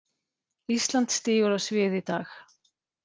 Ísland stígur á svið í dag